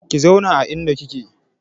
Ki zauna a inda kike!